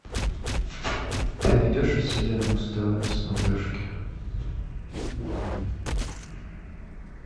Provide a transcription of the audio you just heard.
ты найдешь у себя муз тв на смотрешке